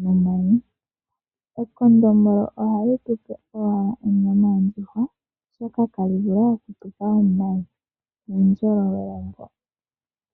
nomayi, omanga ekondombolo ohali tu pe owala onyama yondjuhwa, oshoka ihali vala omayi.